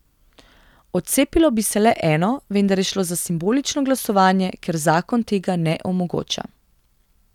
Odcepilo bi se le eno, vendar je šlo za simbolično glasovanje, ker zakon tega ne omogoča.